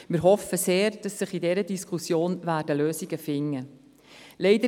Wir hoffen sehr, dass sich in dieser Diskussion Lösungen finden lassen.